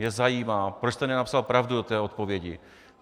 Mě zajímá, proč jste nenapsal pravdu do té odpovědi.